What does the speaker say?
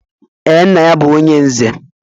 Ee, nna ya bu onye nze